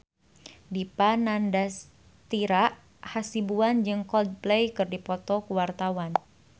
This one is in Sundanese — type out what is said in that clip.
Dipa Nandastyra Hasibuan jeung Coldplay keur dipoto ku wartawan